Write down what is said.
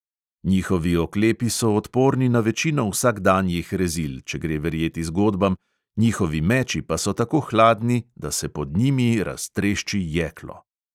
Njihovi oklepi so odporni na večino vsakdanjih rezil, če gre verjeti zgodbam, njihovi meči pa so tako hladni, da se pod njimi raztrešči jeklo.